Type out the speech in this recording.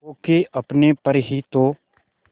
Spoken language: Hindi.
खो के अपने पर ही तो